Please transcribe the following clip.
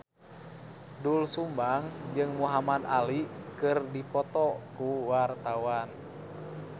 Doel Sumbang jeung Muhamad Ali keur dipoto ku wartawan